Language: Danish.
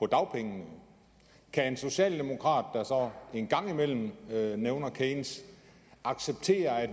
dagpengene kan en socialdemokrat der så en gang imellem nævner keynes acceptere at